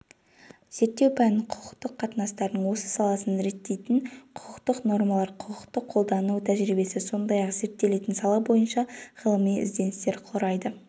зерттеу пәнін құқықтық қатынастардың осы саласын реттейтін құқықтық нормалар құқықты қолдану тәжірибесі сондай-ақ зерттелетін сала бойынша ғылыми ізденістер құрайды